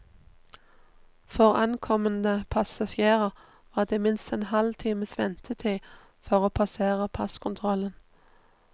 For ankommende passasjerer var det minst en halv times ventetid for å passere passkontrollen.